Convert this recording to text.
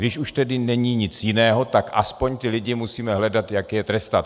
Když už tedy není nic jiného, tak aspoň ty lidi musíme hledat, jak je trestat.